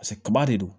Paseke kaba de don